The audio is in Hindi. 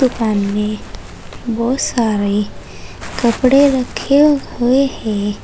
दुकान मे बहुत सारे कपड़े रखे हुए हैं।